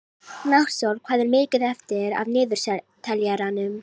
Náttsól, hvað er mikið eftir af niðurteljaranum?